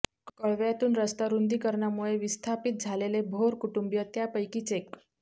कळव्यातून रस्ता रुंदीकरणामुळे विस्थापीत झालेले भोर कुटुंबिय त्यापैकीच एक